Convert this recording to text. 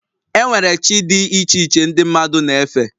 E nwere chi dị iche iche ndị mmadụ na-efe